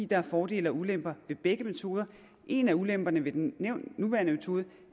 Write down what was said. der er fordele og ulemper ved begge metoder og en af ulemperne ved den nuværende metode